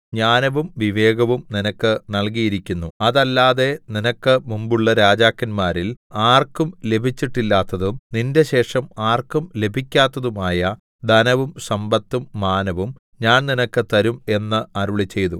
ജ്ഞാനവും വിവേകവും നിനക്ക് നല്കിയിരിക്കുന്നു അതല്ലാതെ നിനക്ക് മുമ്പുള്ള രാജാക്കന്മാരിൽ ആർക്കും ലഭിച്ചിട്ടില്ലാത്തതും നിന്റെ ശേഷം ആർക്കും ലഭിക്കാത്തതുമായ ധനവും സമ്പത്തും മാനവും ഞാൻ നിനക്ക് തരും എന്ന് അരുളിച്ചെയ്തു